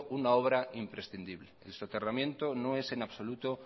una obra imprescindible el soterramiento no es en absoluto